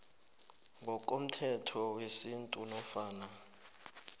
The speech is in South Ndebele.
ngokomthetho wesintu nofana